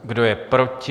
Kdo je proti?